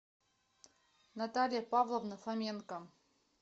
наталья павловна фоменко